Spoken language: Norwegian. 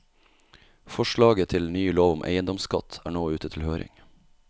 Forslaget til ny lov om eiendomsskatt er nå ute til høring.